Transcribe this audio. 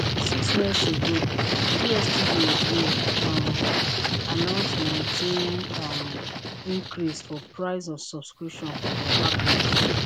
six months ago dstv again um announce 19 um increase for price of subscription for dia package